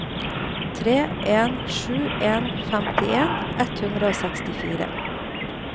tre en sju en femtien ett hundre og sekstifire